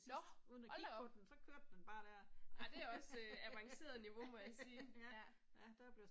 Nåh, hold da op. Ej det er også avanceret niveau må jeg sige, ja, ja